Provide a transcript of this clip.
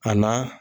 A na